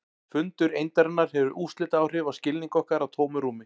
Fundur eindarinnar hefur úrslitaáhrif á skilning okkar á tómu rúmi.